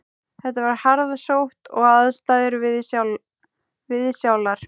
Þetta var harðsótt og aðstæður viðsjálar